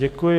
Děkuji.